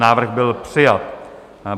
Návrh byl přijat.